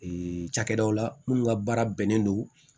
cakɛdaw la minnu ka baara bɛnnen don